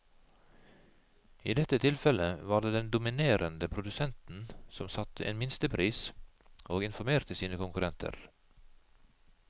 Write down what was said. I dette tilfellet var det den dominerende produsenten som satte en minstepris og informerte sine konkurrenter.